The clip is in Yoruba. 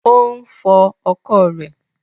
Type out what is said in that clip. Ò ń fọ ọkọ̀ rẹ̀